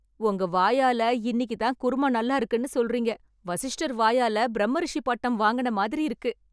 உங்க வாயால இன்னிக்குதான் குருமா நல்லாருக்குன்னு சொல்றீங்க. வசிஷ்டர் வாயால பிரம்மரிஷி பட்டம் வாங்குன மாதிரி இருக்கு.